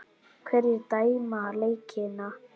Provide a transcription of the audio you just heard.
Hverjir dæma leikina?